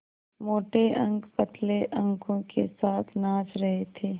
मोटे अंक पतले अंकों के साथ नाच रहे थे